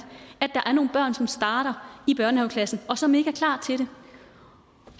er nogle børn som starter i børnehaveklassen og som ikke er klar til det